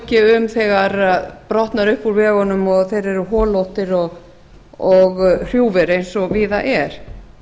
ekki um þegar brotnar upp úr vegunum og þeir eru holóttir og hrjúfir eins og víða er